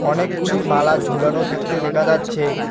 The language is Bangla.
অনেকগুলি মালা ঝোলানো থাকতে দেখা যাচ্ছে।